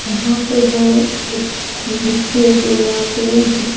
यहाँ पर है एक नक्शे जो यहाँ पे कुछ --